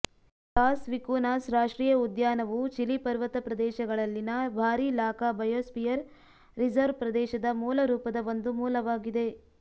loss Vicunas ರಾಷ್ಟ್ರೀಯ ಉದ್ಯಾನವು Chile ಪರ್ವತ ಪ್ರದೇಶಗಳಲ್ಲಿನ ಭಾರಿ ಲಾಕಾ ಬಯೋಸ್ಪಿಯರ್ ರಿಸರ್ವ್ ಪ್ರದೇಶದ ಮೂಲರೂಪದ ಒಂದು ಮೂಲವಾಗಿದೆ